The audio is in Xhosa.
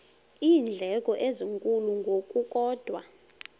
iindleko ezinkulu ngokukodwa